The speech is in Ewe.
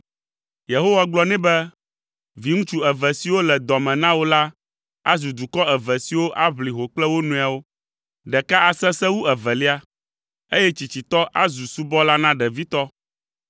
Yehowa gblɔ nɛ be, “Viŋutsu eve siwo le dɔ me na wò la azu dukɔ eve siwo aʋli ho kple wo nɔewo. Ɖeka asesẽ wu evelia, eye tsitsitɔ azu subɔla na ɖevitɔ.”